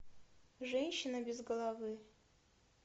женщина без головы